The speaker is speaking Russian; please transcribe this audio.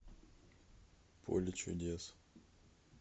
поле чудес